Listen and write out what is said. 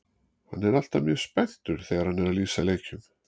Hann er alltaf mjög spenntur þegar hann er að lýsa leikjum.